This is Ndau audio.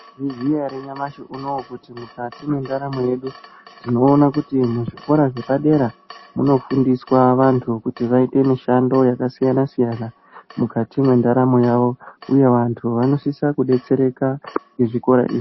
Mwaizviziya ere nyamashi unowu kuti mukati mwendaramo yedu tinoona kuti muzvikora zvepadera munofundiswa vantu kuti vaite mishando yakasiyana -siyana mukati mwendaramo yavo uye vantu vanosisa kudetsereka ngechikora.